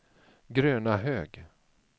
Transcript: Grönahög